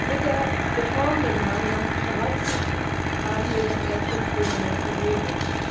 Mit der Reform der Gemeinsamen Fischereipolitik haben wir das erste Element geregelt.